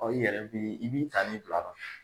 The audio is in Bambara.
i yɛrɛ bi i b'i ta ni bila.